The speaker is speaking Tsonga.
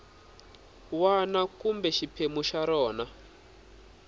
wana kumbe xiphemu xa rona